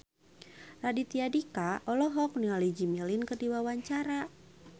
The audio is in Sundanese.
Raditya Dika olohok ningali Jimmy Lin keur diwawancara